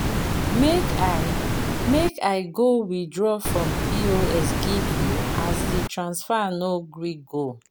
Make I Make I go withraw from POS give you as this transfer no gree go.